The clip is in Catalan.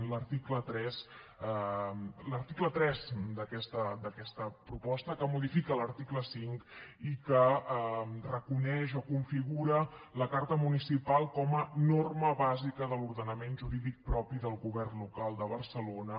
l’article tres d’aquesta proposta que modifica l’article cinc i que reconeix o configura la carta municipal com a norma bàsica de l’ordenament jurídic propi del govern local de barcelona